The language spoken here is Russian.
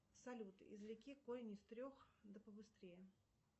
салют извлеки корень из трех да побыстрее